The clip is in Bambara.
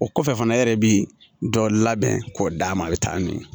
O kɔfɛ fana e yɛrɛ bi dɔ labɛn k'o d'a ma a bɛ taa n'o ye